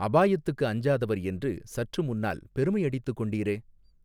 அபாயத்துக்கு அஞ்சாதவர் என்று சற்று முன்னால் பெருமை அடித்துக் கொண்டீரே.